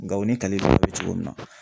Gao ni kale cogo min na